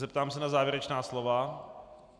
Zeptám se na závěrečná slova.